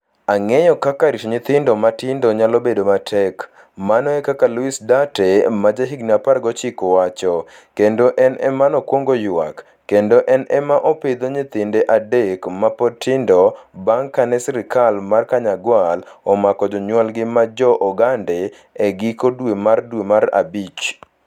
Ang'eyo kaka rito nyithindo matindo nyalo bedo matek, mano e kaka Luis Duarte, ma jahigini 19 wacho, kendo en ema nokwongo ywak, kendo en ema opidho nyithinde adek ma pod tindo bang ' kane sirkal mar Kanyagwal omako jonyuolgi ma Jo - Ogande e giko dwe mar dwe mar abich.